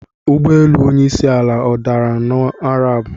Ụgbọelu onyeisi ala adara n'Araabụ?